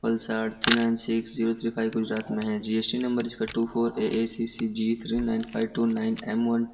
Valsad three nine six zero three five Gujarat में है G S T number इसका two four A A C C G nine five two nine M one --